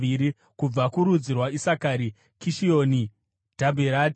kubva kurudzi rwaIsakari, Kishioni, Dhabherati,